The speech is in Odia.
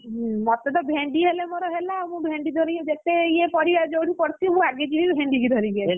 ହୁଁ ମତେତ ଭେଣ୍ଡି ହେଲେ ମୋର ହେଲା ଆଉ ମୁଁ ଭେଣ୍ଡି ଧରି ଯେତେ ଇଏ ପରିବା ଯୋଉଠି ପଡ଼ିଥିବ ଆଗେ ଯିବି ଭେଣ୍ଡି କି ଧରିକି ଆସିବି।